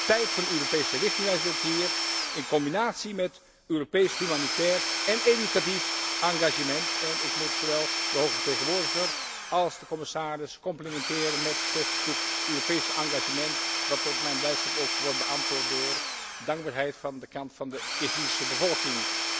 Tijd voor een Europese richtingwijzer ook hier, in combinatie met Europees humanitair en educatief engagement. Ik moet zowel de hoge vertegenwoordiger als de commissaris complimenteren met dit Europese engagement dat tot mijn blijdschap ook wordt beantwoord door dankbaarheid van de kant van de Kirgizische bevolking.